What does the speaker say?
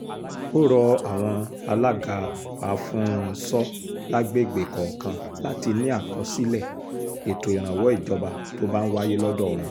ó rọ àwọn alága afún-ń-so lágbègbè kọ̀ọ̀kan láti ní àkọsílẹ̀ ètò ìrànwọ́ ìjọba tó bá ń wáyé lọ́dọ̀ wọn